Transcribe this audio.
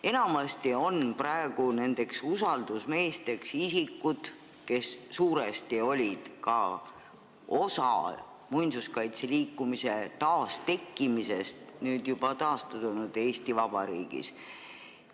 Enamasti on nendeks usaldusmeesteks isikud, kes suuresti olid ka osa muinsuskaitseliikumise taastekkimisest taastunud Eesti Vabariigis.